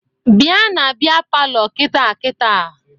Bịa na bịa palọ kịta kịta!